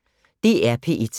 DR P1